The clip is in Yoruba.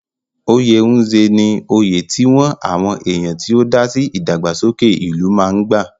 Oyè Nze ní oyè tí wọ́n àwọn èèyàn tó ti dásí ìdàgbàsókè ìlú máa ń gbà.